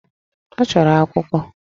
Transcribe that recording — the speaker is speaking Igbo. Ọ chọrọ akwụkwọ?